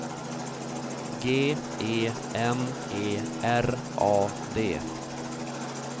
G E N E R A D